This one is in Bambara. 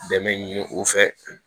Dɛmɛ ɲini u fɛ